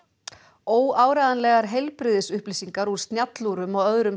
óáreiðanlegar heilbrigðisupplýsingar úr snjallúrum og öðrum